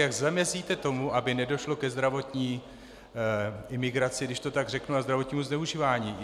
Jak zamezíte tomu, aby nedošlo ke zdravotní imigraci, když to tak řeknu, a zdravotnímu zneužívání?